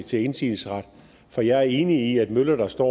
til indsigelsesret for jeg er enig i at møller der står